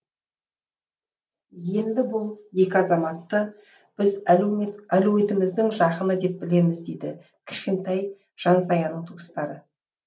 енді бұл екі азаматты біз әлеуметіміздің жақыны деп білеміз дейді кішкентай жансаяның туыстары